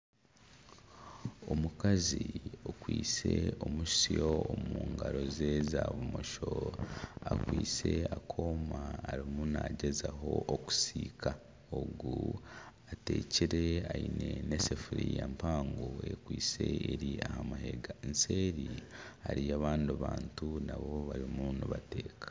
Omukazi okwitse omusyo omu ngaro ze za bumosho akwitse akooma ariyo naagyezaho kusiika, ogu ateekire aine n'esefuria mpango ekwitse eri aha mahega eseeri hariyo abandi bantu nabo barimu nibateeka